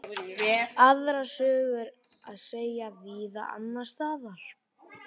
Aðra sögu er að segja víða annars staðar.